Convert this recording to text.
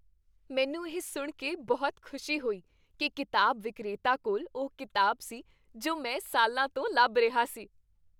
ਮੈਨੂੰ ਇਹ ਸੁਣ ਕੇ ਬਹੁਤ ਖੁਸ਼ੀ ਹੋਈ ਕਿ ਕਿਤਾਬ ਵਿਕਰੇਤਾ ਕੋਲ ਉਹ ਕਿਤਾਬ ਸੀ ਜੋ ਮੈਂ ਸਾਲਾਂ ਤੋਂ ਲੱਭ ਰਿਹਾ ਸੀ!